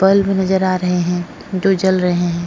Bulb नजर आ रहे हैं जो जल रहे हैं।